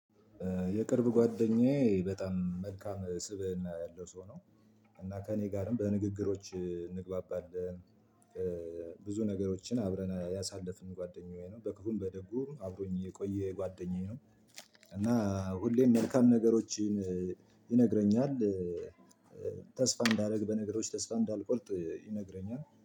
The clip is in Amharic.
የቅርብ ጓደኛዬ በጣም መልካም ስብእና ያለው ሰው ነው። እና ከእኔ ጋርም በንግግሮች እንግባባለን። ብዙ ነገሮችን አብረን ያሳለፍን ጓደኛዬ ነው በክፉም በደጉም አብሮኝ የቆየ ጓደኛዬ ነው። እና ሁሌም መልካም ነገሮችን ይነግረኛል። ተስፋ እንዳደርግ በነገሮች ተስፋ እንዳልቆርጥ ይነግረኛል